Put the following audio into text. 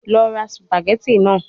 Lọ ra spaghetti naa